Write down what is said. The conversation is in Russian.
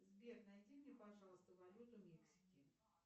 сбер найди мне пожалуйста валюту мексики